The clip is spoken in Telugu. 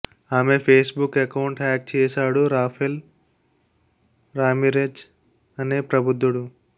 ఆమె ఫేస్ బుక్ అకౌంట్ హ్యాక్ చేశాడు రాఫెల్ రామిరెజ్ అనే ప్రబుద్ధుడు